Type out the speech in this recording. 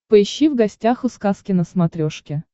поищи в гостях у сказки на смотрешке